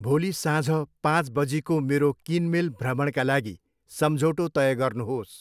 भोलि साँझ पाँच बजीको मेरो किनमेल भ्रमणका लागि सम्झौटो तय गर्नुहोस्।